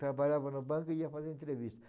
Trabalhava na banca, ia fazer entrevista.